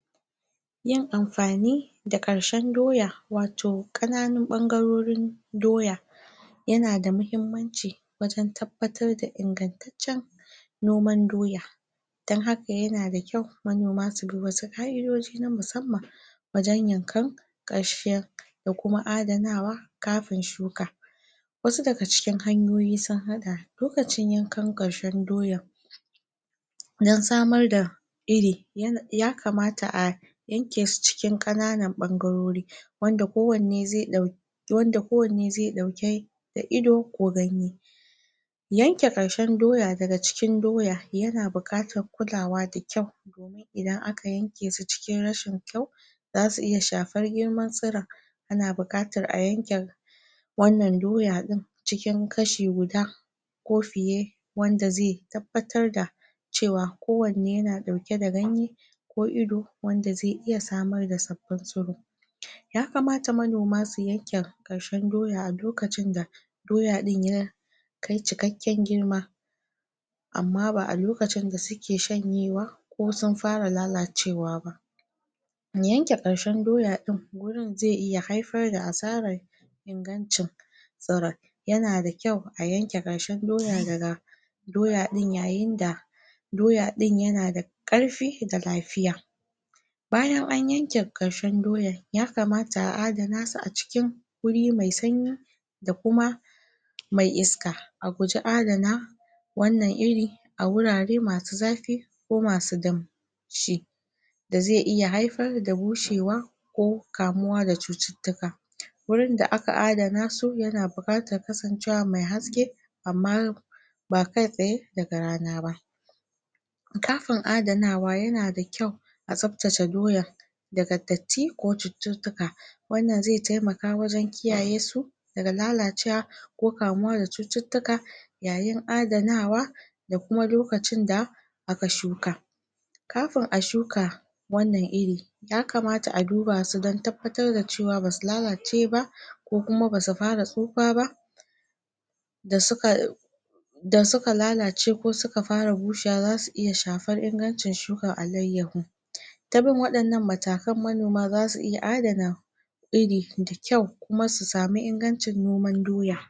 yin amfani da ƙarshen doya wato ƙananun ɓangarorin doya yanada muhimmanci wajen tabbatar da ingantaccen noman doya. Dan haka yana da kyau manoma subi wasu ƙa'idoji na musamman wajen yankan ƙarshen ko kuma adanawa kafin shuka. wasu daga cikin hanyoyin sun haɗa lokacin yankan ƙarshen doya dan samar da iri ya kamata a yanke su cikin ƙananan ɓangarori. wanda kowanne zai ɗau wanda kowanne zai ɗauke da ido ko ganye. Yanke ƙarshen doya daga cikin doya yana buƙatar kulawa da kyau idan aka yanke shi cikin rashin kyau, zasu iya shafar girman tsuron ana buƙatar a yanke wannan doya ɗin cikin kashi guda ko fiye wanda zai tabbatar da cewa ko wanne yana ɗauke da ganye ko ido wanda zai iya samar da sabbin tsuro. Yakamata manoma su yanke ƙarshen doya a lokacin da doya ɗin ya kai cikakken girma. Amma ba a lokacin da suke shanyewa ko sun fara lalacewa ba yanke ƙarshen doya ɗin gurin zai iya haifar da asara ingancin yanada kyau a yanke ƙarshen doya daga doya ɗin yayin da doya ɗin yanada ƙarfi da lafiya. bayan an yanke ƙarshen doyan ya kamata a adanasu a cikin wuri mai sanyi da kuma mai iska. A guji adana wannan iri a wurare masu zafi ko masu dam shi da zai iya haifar da bushewa ko kamuwa sa cututtuka wurin da aka adana su yana buƙatar kasancewa mai haske amma ba kaitsaye daga rana ba. Kafin adanawa yana da kyau a tsaftace doya daga datti ko cututtuka wannan zai taimaka wajen kiyaye su daga lalacewa ko kamuwa da cututtuka yayin adanawa da kuma lokacin da aka shuka. Kafin a shuka wannan iri ya kamata a duba su dan tabatar da cewa basu lalace ba ko kuma basu fara tsufa ba da suka da suka lalace ko suka fara bushewa zasu iya shafar ingancin shukar akleyahu tabin waɗannan matakan manoma zasu iya adana iri da kyau kuma su samu ingancin noman doya